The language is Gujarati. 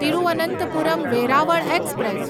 તિરુવનંતપુરમ વેરાવળ એક્સપ્રેસ